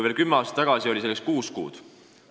Veel kümme aastat tagasi oli selleks kuus kuud.